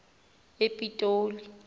epitoli